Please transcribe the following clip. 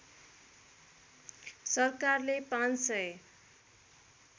सरकारले ५ सय